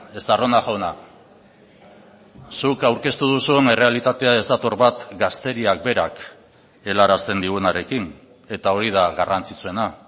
estarrona jauna zuk aurkeztu duzun errealitatea ez dator bat gazteriak berak helarazten digunarekin eta hori da garrantzitsuena